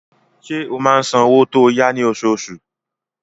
Ṣé ó máa ń san owó tó yá ní oṣooṣù?